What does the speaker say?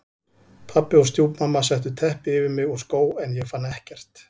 Pabbi og stjúpmamma settu teppi yfir mig og skó en ég fann ekkert.